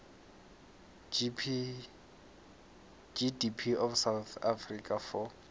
gdp of south africa for